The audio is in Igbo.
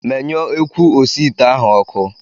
Menyụọ ekwu osiite ahụ ọkụ!